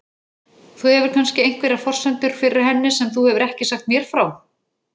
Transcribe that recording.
Þú hefur kannski einhverjar forsendur fyrir henni sem þú hefur ekki sagt mér frá?